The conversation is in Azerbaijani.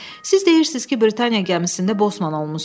Siz deyirsiz ki, Britaniya gəmisində bosman olmusunuz?